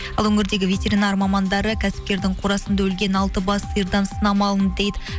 ал өңірдегі ветеринар мамандары кәсіпкердің қорасында өлген алты бас сиырдан сынама алынды дейді